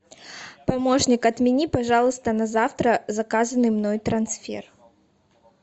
помощник отмени пожалуйста на завтра заказанный мной трансфер